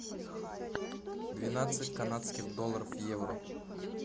двенадцать канадских долларов в евро